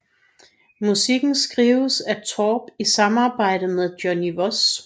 Musikken skrives af Torp i samarbejde med Johnny Voss